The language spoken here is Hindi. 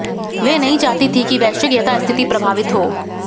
वे नहीं चाहती थीं कि वैश्विक यथास्थिति प्रभावित हो